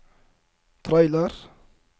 trailer